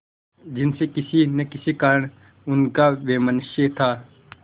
जिनसे किसी न किसी कारण उनका वैमनस्य था